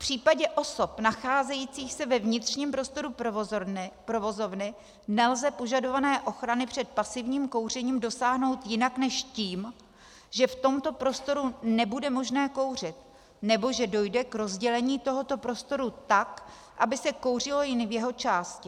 V případě osob nacházejících se ve vnitřním prostoru provozovny nelze požadované ochrany před pasivním kouřením dosáhnout jinak než tím, že v tomto prostoru nebude možné kouřit nebo že dojde k rozdělení tohoto prostoru tak, aby se kouřilo jen v jeho části.